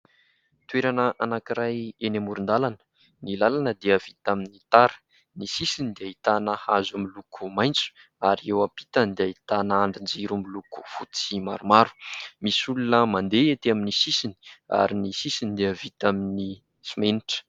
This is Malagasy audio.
Toerana anankiray eny amoron-dalana. Ny lalana dia vita amin'ny tara. Ny sisiny dia ahitana hazo miloko maitso ary eo ampitany dia ahitana andrin-jiro miloko fotsy maromaro. Misy olona mandeha etỳ amin'ny sisiny ary ny sisiny dia vita amin'ny simenitra.